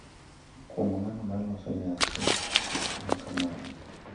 Kuom ng’ano ma loso nyasi ma kamago,